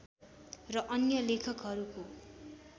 र अन्य लेखकहरूको